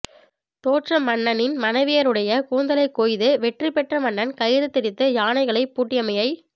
தோற்ற மன்னனின் மனைவியருடை கூந்தலைக் கொய்து வெற்றி பெற்ற மன்னன் கயிறு திரித்து யானைகளைப் பூட்டியமையை